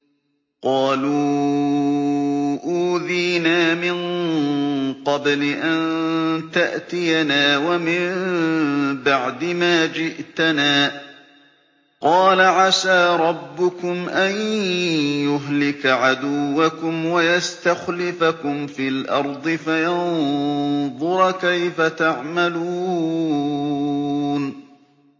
قَالُوا أُوذِينَا مِن قَبْلِ أَن تَأْتِيَنَا وَمِن بَعْدِ مَا جِئْتَنَا ۚ قَالَ عَسَىٰ رَبُّكُمْ أَن يُهْلِكَ عَدُوَّكُمْ وَيَسْتَخْلِفَكُمْ فِي الْأَرْضِ فَيَنظُرَ كَيْفَ تَعْمَلُونَ